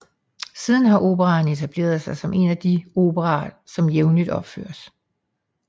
Siden har operaen etableret sig som en af de operaer som jævnligt opføres